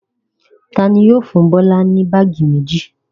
Ta ni yóò fún Bọ́lá ní báágì méjì?